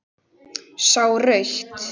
Sá rautt.